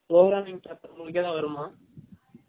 programming paper உனக்கு எதாது வருமா